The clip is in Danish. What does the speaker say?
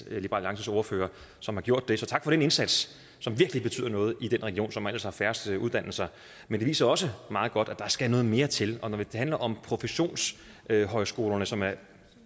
alliances ordfører som har gjort det så tak for den indsats som virkelig betyder noget i den region som ellers har færrest uddannelser men det viser også meget godt at der skal noget mere til og når vi taler om professionshøjskolerne som er